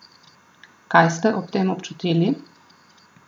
Kaj ste ob tem občutili?